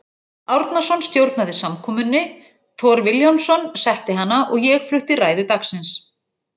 Árnason stjórnaði samkomunni, Thor Vilhjálmsson setti hana og ég flutti ræðu dagsins.